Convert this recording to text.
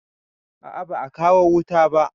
A a ba a kawo wuta ba.